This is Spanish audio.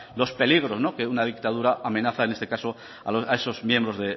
los peligros que una dictadura amenaza en este caso a esos miembros